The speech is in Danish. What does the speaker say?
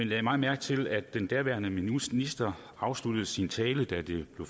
lagde meget mærke til at den daværende minister afsluttede sin tale da det blev